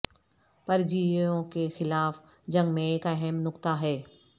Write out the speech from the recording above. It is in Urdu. پرجیویوں کے خلاف جنگ میں ایک اہم نقطہ ہے